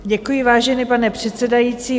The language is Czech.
Děkuji, vážený pane předsedající.